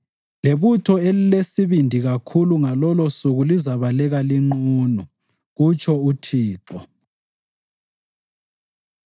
Lebutho elilesibindi kakhulu, ngalolosuku lizabaleka linqunu,” kutsho uThixo.